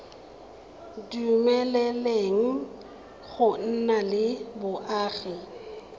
dumeleleng go nna le boagi